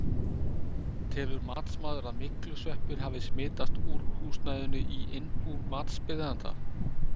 Telur matsmaður að myglusveppir hafi smitast úr húsnæðinu í innbú matsbeiðanda?